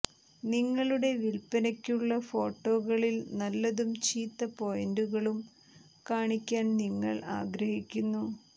നിങ്ങളുടെ വില്പനയ്ക്കുള്ള ഫോട്ടോകളിൽ നല്ലതും ചീത്ത പോയിന്റുകളും കാണിക്കാൻ നിങ്ങൾ ആഗ്രഹിക്കുന്നു